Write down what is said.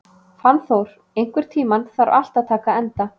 Fannþór, einhvern tímann þarf allt að taka enda.